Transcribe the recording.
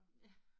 Ja